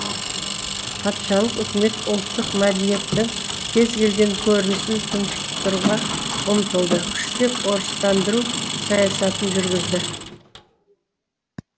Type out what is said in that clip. патшалық үкімет ұлттық мәдениеттің кез келген көрінісін тұншықтыруға ұмтылды күштеп орыстандыру саясатын жүргізді